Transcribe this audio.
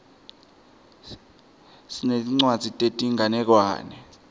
sinetincwadzi tetinganekwane